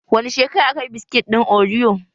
Wani shekara aka yi biskit ɗin oriyo?